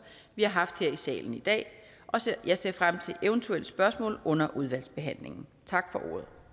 vi har haft her i salen i dag jeg ser frem til eventuelle spørgsmål under udvalgsbehandlingen tak for